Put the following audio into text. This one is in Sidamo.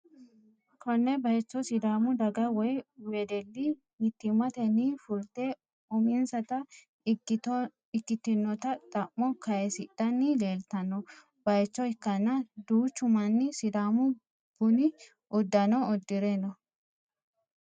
konne bayicho sidaamu daga woy wedelli mittimmatenni fulte uminsata ikkitinota xa'mo kayiisidhanni leeltanno bayicho ikkanna, duuchu manni sidaamu buni uddano uddi're no.